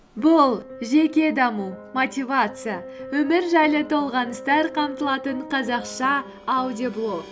бұл жеке даму мотивация өмір жайлы толғаныстар қамтылатын қазақша аудиоблог